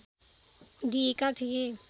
दिएका थिए।